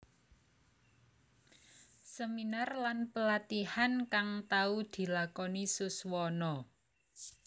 Seminar lan pelatihan kang tau dilakoni Suswono